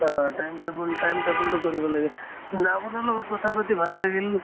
হয় time table time table তো কৰিব লাগে ন আপোনাৰ লগত কথা পাতি ভালে লাগিল।